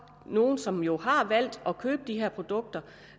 nogle som jo har valgt at købe de her produkter